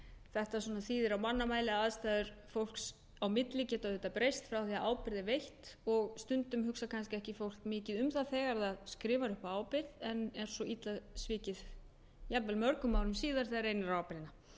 þetta svona þýðir á mannamáli að aðstæður fólks á milli geta auðvitað breyst frá því að ábyrgð er veitt og stundum hugsar fólk kannski ekki mikið um það þegar það skrifar upp á ábyrgð en er svo illa tekið jafnvel mörgum árum síðar þegar reynir á ábyrgðina